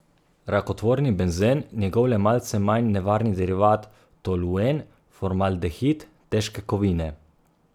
Rakotvorni benzen, njegov le malce manj nevarni derivat toluen, formaldehid, težke kovine ...